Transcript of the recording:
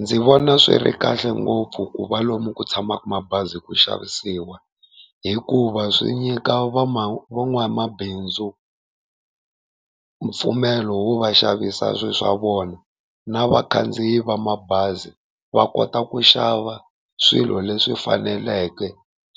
Ndzi vona swi ri kahle ngopfu ku va lomu ku tshamaka mabazi ku xavisiwa, hikuva swi nyika van'wamabindzu mpfumelo wo va xavisa swi swa vona, na vakhandziyi va mabazi va kota ku xava swilo leswi faneleke